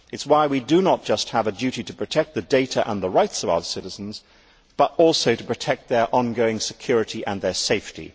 It is why we do not just have a duty to protect the data and the rights of our citizens, but also to protect their ongoing security and their safety.